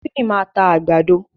Tímì máa ta àgbàdo.